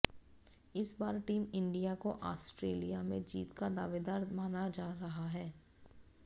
इस बार team India को ऑस्ट्रेलिया में जीत का दावेदार माना जा रहा है